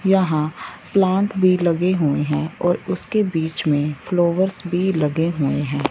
यहां प्लांट भी लगे हुए हैं उसके बीच में फ्लोवरस भी लगे हुए हैं।